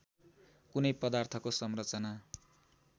कुनै पदार्थको संरचना